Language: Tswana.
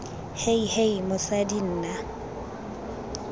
hei hei hei mosadi nna